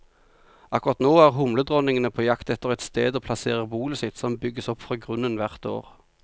Akkurat nå er humledronningene på jakt etter et sted å plassere bolet sitt, som bygges opp fra grunnen hvert år.